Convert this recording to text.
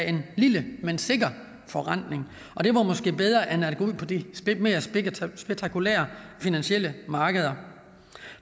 en lille men sikker forrentning og det var måske bedre end at gå ud på de mere spektakulære finansielle markeder